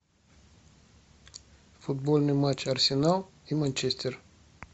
футбольный матч арсенал и манчестер